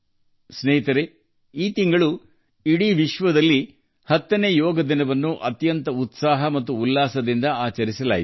ಸ್ನೇಹಿತರೆ ಈ ತಿಂಗಳು ಇಡೀ ವಿಶ್ವವು 10ನೇ ಅಂತಾರಾಷ್ಟ್ರೀಯ ಯೋಗ ದಿನವನ್ನು ಅತ್ಯಂತ ಉತ್ಸಾಹ ಮತ್ತು ಸಂಭ್ರಮದಿಂದ ಆಚರಿಸಿತು